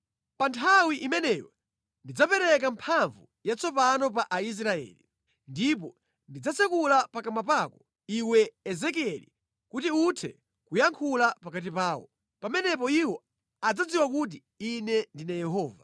“Pa nthawi imeneyo ndidzapereka mphamvu yatsopano pa Aisraeli, ndipo ndidzatsekula pakamwa pako, iwe, Ezekieli kuti uthe kuyankhula pakati pawo. Pamenepo iwo adzadziwa kuti Ine ndine Yehova.”